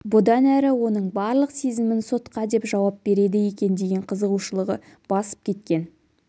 бұдан әрі оның барлық сезімін сотқа деп жауап береді екен деген қызығушылығы басып кеткен